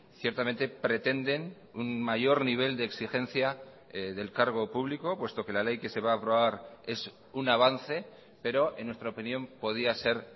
ciertamente pretenden un mayor nivel de exigencia del cargo público puesto que la ley que se va a aprobar es un avance pero en nuestra opinión podía ser